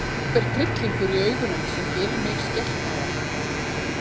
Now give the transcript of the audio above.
Einhver tryllingur í augunum sem gerir mig skelkaða.